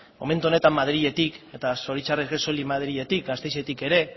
momentu honetan madriletik eta zoritzarrez soilik madriletik gasteizetik ere